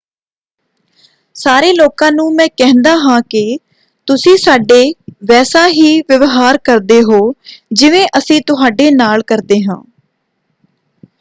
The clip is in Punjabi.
ਸਾਰੇ ਲੋਕਾਂ ਨੂੰ ਮੈਂ ਕਹਿੰਦਾ ਹਾਂ ਕਿ ਤੁਸੀਂ ਸਾਡੇ ਵੈਸਾ ਹੀ ਵਿਵਹਾਰ ਕਰਦੇ ਹੋ ਜਿਵੇਂ ਅਸੀਂ ਤੁਹਾਡੇ ਨਾਲ ਕਰਦੇ ਹਾਂ।